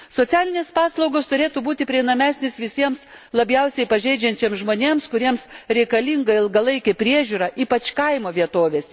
Socialinės paslaugos turėtų būti prieinamesnės visiems labiausiai pažeidžiamiems žmonėms, kuriems reikalinga ilgalaikė priežiūra, ypač kaimo vietovėse.